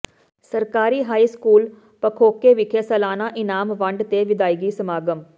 ਸਰਕਾਰੀ high school ਪੱਖੋਕੇ ਵਿਖੇ ਸਾਲਾਨਾ ਇਨਾਮ ਵੰਡ ਤੇ ਵਿਦਾਇਗੀ ਸਮਾਗਮ